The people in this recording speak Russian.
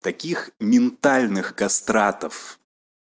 таких ментальных кастратов